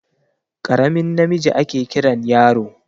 Karamin namiji ake Kiran yaro.